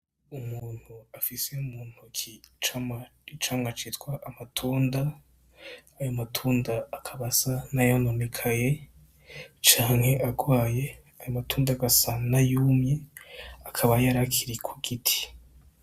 Umuntu afise mu ntoke icamwa citwa amatunda, ayo matunda akaba asa n'ayononekaye canke agwaye, ayo matunda agasa n'ayumye, akaba yari akiri ku giti.